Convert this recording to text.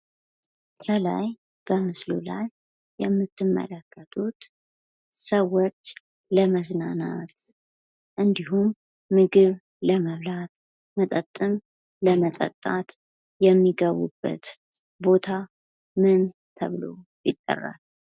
ይህ በምስሉ ላይ የምትመለከቱት ሰዎች ለመዝናናት እንዲሁም ምግብ ለመብላት መጠጥም ለመጠጣት የሚገቡበት ቦታ ምን ተብሎ ይጠራል?